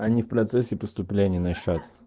они в процессе поступления на счёт